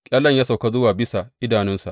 Ƙyallen ya sauka zuwa bisa idanunsa.